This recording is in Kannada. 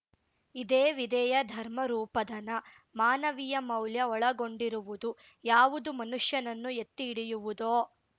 ಇದೇ ವಿದ್ಯೆಯ ಧರ್ಮರೂಪಧನ ಮಾನವೀಯ ಮೌಲ್ಯ ಒಳಗೊಂಡಿರುವುದು ಯಾವುದು ಮನುಷ್ಯನನ್ನು ಎತ್ತಿ ಹಿಡಿಯವುದೋ